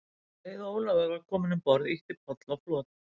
Um leið og Ólafur var kominn um borð, ýtti Páll á flot.